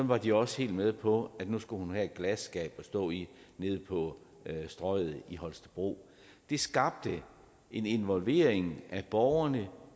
var de også helt med på at nu skulle hun have et glasskab at stå i nede på strøget i holstebro det skabte en involvering af borgerne